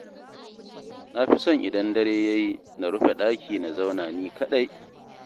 Na fi son idan dare ya yi na rufe ɗaki na zauna ni kaɗai